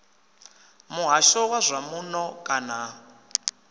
muhasho wa zwa muno kana